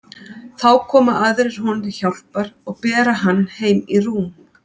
Þá koma aðrir honum til hjálpar og bera hann heim í rúm.